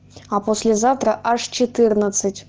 а послезавтра аж четырнадцать